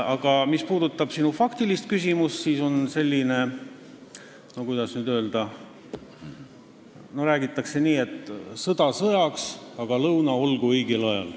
Aga mis puudutab sinu faktilist küsimust, siis, kuidas nüüd öelda, on selline väljend, et sõda sõjaks, aga lõuna olgu õigel ajal.